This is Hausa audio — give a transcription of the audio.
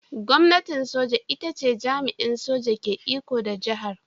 Gwamnatin soja ita ce jami'in soja ke iko da jihar.